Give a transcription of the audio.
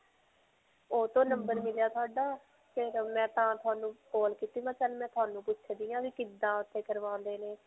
ਓਹ ਤੋਂ number ਮਿਲਿਆ ਤੁਹਾਡਾ ਫਿਰ ਮੈਂ ਤਾਂ ਤੁਹਾਨੂੰ call ਕੀਤੀ. ਮੈਂ ਚਲ ਮੈਂ ਤੁਹਾਨੂੰ ਪੁੱਛਦੀ ਹੈਂ ਵੀ ਕਿੱਦਾਂ ਓੱਥੇ ਕਰਵਾਉਂਦੇ ਨੇ.